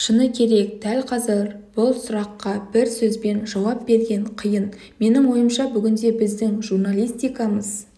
шыны керек дәл қазір бұл сұраққа бір сөзбен жауап берген қиын менің ойымша бүгінде біздің журналистикамыз